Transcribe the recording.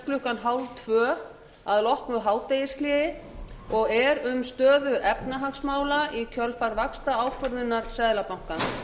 klukkan þrettán þrjátíu að loknu hádegishléi og er um stöðu efnahagsmála í kjölfar vaxtaákvörðunar seðlabankans